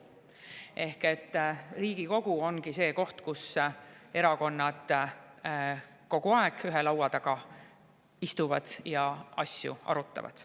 Ehk et Riigikogu ongi see koht, kus erakonnad kogu aeg ühe laua taga istuvad ja asju arutavad.